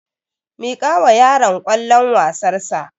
Miƙawa yaron kwallon wasar sa